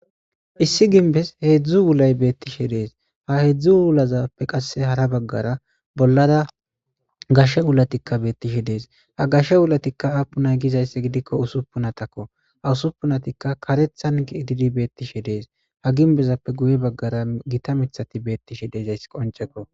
Issi ginbes hedzdzu wulay beetishe de'es ha hedzdzu wulazappe qasse hara bagara bollara gashe wulatikka beetishe de'es ha gashe wulatikka aapunne gizayssi gidikko usupunatakko ha usupunatikka karethan ke'idi beetishe de'es ha ginbezappe guye bagara gita miththati beetishe de'izayssi qoncekko.